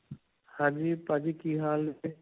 ਹਾਂਜੀ, ਭਾਜੀ ਕੀ ਹਾਲ ?